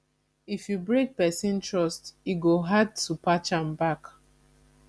if you break person trust e go hard to patch am back